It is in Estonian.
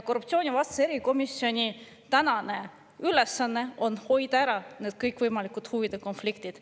Korruptsioonivastase erikomisjoni ülesanne on hoida ära need kõikvõimalikud huvide konfliktid.